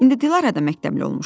İndi Dilara da məktəbli olmuşdu.